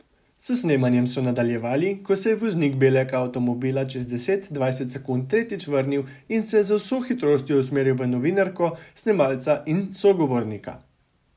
S snemanjem so nadaljevali, ko se je voznik belega avtomobila čez deset, dvajset sekund tretjič vrnil in se z vso hitrostjo usmeril v novinarko, snemalca in sogovornika.